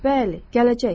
Bəli, gələcək.